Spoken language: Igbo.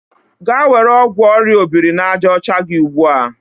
Gaa were ọgwụ orịa obiri-na-aja ocha gị ugbu a!